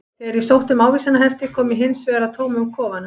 Þegar ég sótti um ávísanahefti kom ég hins vegar að tómum kofanum.